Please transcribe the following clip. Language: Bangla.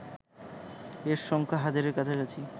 এর সংখ্যা হাজারের কাছাকাছি